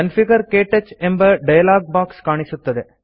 configure - ಕ್ಟಚ್ ಎಂಬ dialog box ಕಾಣುತ್ತದೆ